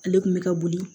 Ale kun bɛ ka boli